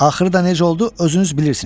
Axırı necə oldu, özünüz bilirsiz.